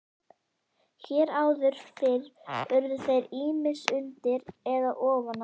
Hér áður fyrr urðu þeir ýmist undir eða ofan á.